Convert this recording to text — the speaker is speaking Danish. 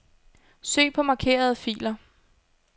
Søg på markerede filer.